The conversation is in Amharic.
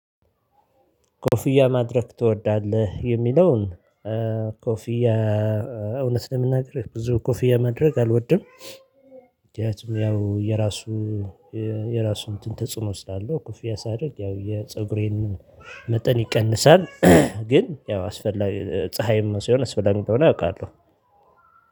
ኮፍያ ማድረግ ትወዳለህ የሚለውን ኮፍያ እውነት ለመናገር ብዙ ኮፊያ ማድረግ አልወድም። ያው የራሱ የራሱ እንትን ተጽዕኖ ስላለው ክፍያ ሳደርግ ያው የፀጉሬንም መጠን ይቀንሳል። ግን ያው አስፈላጊ ፀሀይ ነው ሲሆን አስፈላጊ እንደሆነ አውቃለሁ